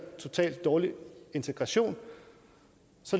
totalt dårlig integration